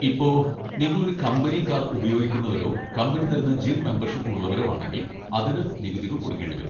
ഇപ്പൊ, നിങ്ങളൊരു company car ഉപയോഗിക്കുന്നവരോ കമ്പനി തരുന്ന ജിം മെമ്പർഷിപ്പ് ഉള്ളവരോ ആണെങ്കിൽ അതിന് നികുതികൾ കൊടുക്കേണ്ടി വരും.